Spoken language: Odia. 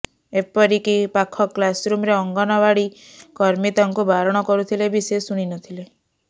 ଏପରିକି ପାଖ କ୍ଲାସରୁମ୍ରେ ଅଙ୍ଗନାବାଡ଼ି କର୍ମୀ ତାଙ୍କୁ ବାରଣ କରୁଥିଲେ ବି ସେ ଶୁଣିନଥିଲେ